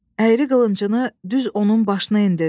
Əyri qılıncını düz onun başına endirdi.